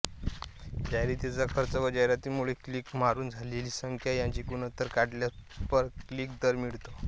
जाहिरातीचा खर्च व जाहिरातीमुळे क्लिक मारून झालेली संख्या याचे गुणोत्तर काढल्यास पर क्लिक दर मिळतो